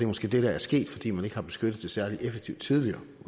måske det der er sket fordi man ikke har beskyttet det særlig effektivt tidligere